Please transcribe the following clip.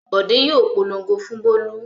Bọ̀dé yóò polongo fún Bólú.